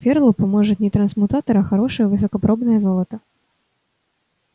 ферлу поможет не трансмутатор а хорошее высокопробное золото